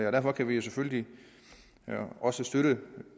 og derfor kan vi jo selvfølgelig også støtte